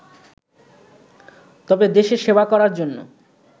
তবে দেশের সেবা করার জন্য